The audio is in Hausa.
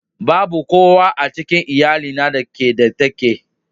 Babu kowa a cikin iyalina da ke da take.